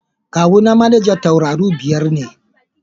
Kawuna manajan tauraru biyar ne.